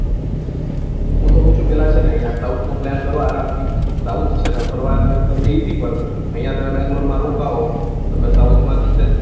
પેલા છે ને આયા south નો plan કરો આરામ થી south છે ને ફરવાનું એમ તમને esy પડશે આયા તમે બેંગ્લોરમાં રોકવો તને south માં